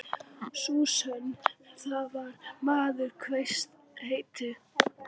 Sú sögn, þar sem maður kveðst heita